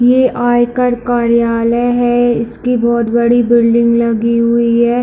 ये आयकर कार्यालय है इस की बहोत बड़ी बिल्डिंग लगी हुई है।